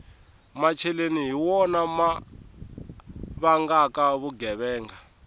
macheleni hi wona ma vangaka vugevenga